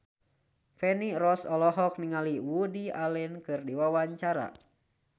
Feni Rose olohok ningali Woody Allen keur diwawancara